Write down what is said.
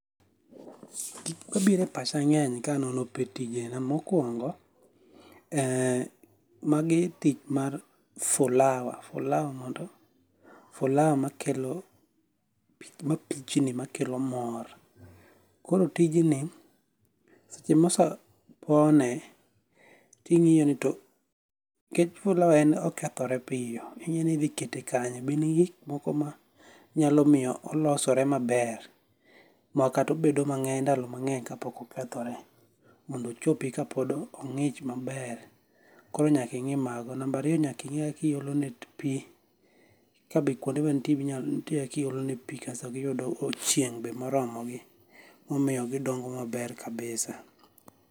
Tich mabiro e pacha nge'ny kanono tije ahinani ,mokuongo e magi tich mar fulawa, fulawa mondo fulawa makelo mapichni makelo mor, kor tijni seche moseponi tingi'e to, nikech fulawa en okethore piyo ingi'yoni ithikete kanye be in gi gik moko ma nyalo miyo olosorego maber ma kata obedo mange'ny ndalo mangeny ma ka pok okethore mondo ochopi ka pok ongi'ch maber, koro nyaki ngi' mago number ariyo nyaka ingi' ma kakiolonegi pi ka be kuondego nitie kakiolegi pi kasto giyudogo chieng' be moromogi momiyo gidongo maber kabisa